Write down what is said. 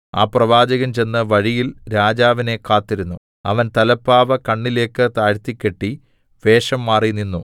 ആ പ്രവാചകൻ ചെന്ന് വഴിയിൽ രാജാവിനെ കാത്തിരുന്നു അവൻ തലപ്പാവ് കണ്ണിലേക്ക് താഴ്ത്തിക്കെട്ടി വേഷംമാറി നിന്നു